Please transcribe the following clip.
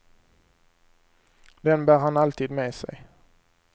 Den bär han alltid med sig.